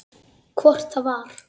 Hvort það var!